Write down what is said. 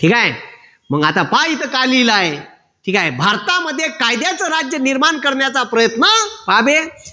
ठीक आहे. मग आता पहा इथे काय लिहिलं आहे. ठीक आहे. भारतामध्ये कायद्याचं राज्य निर्माण करण्याचा प्रयत्न पहाबे